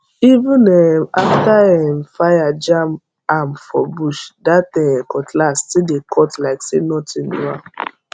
even um after um fire jam am for bush that um cutlass still dey cut like say nothing do am